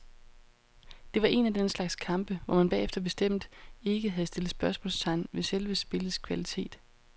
Det var en af den slags kampe, hvor man bagefter bestemt ikke havde stillet spørgsmålstegn ved selve spillets kvalitet.